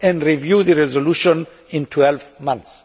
and review the resolution in 12 months.'